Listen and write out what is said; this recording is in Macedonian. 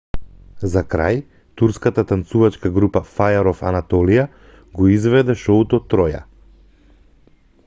за крај турската танцувачка група fire of anatolia го изведе шоуто троја